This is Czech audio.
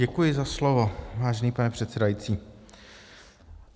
Děkuji za slovo, vážený pane předsedající.